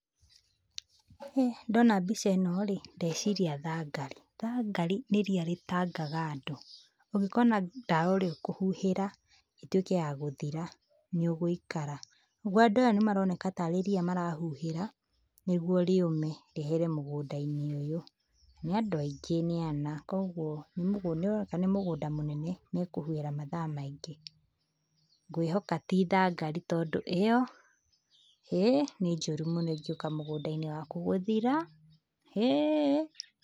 Ndona mbica ĩno rĩ, ndeciria thangari, thangari nĩ ria rĩtangaga andũ, ũngĩkona ndawa ĩrĩa ũkũhuhĩra ĩtuĩke ya gũthira, nĩ ũgũikara. Nĩguo andũ aya nĩ maroneka tarĩ ria marahuhĩra, nĩguo rĩume, rĩehere mũgũnda-inĩ ũyũ, nĩ andũ aingĩ nĩ ana, koguo nĩ ũroneka nĩ mũgũnda mũnene, mekũhuhĩra mathaa maingĩ. Ngwĩhoka ti thangari tondũ ĩyo, ĩĩ nĩ njũru mũno ĩngĩũka mũgũnda-inĩ waku gũthira, hĩ.